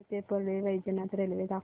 बीड ते परळी वैजनाथ रेल्वे दाखव